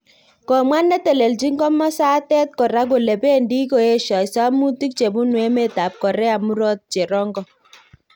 Komwa netelchin komasatet kora kole pendi koesio samutik chebunu emet ab Korea murot cherongo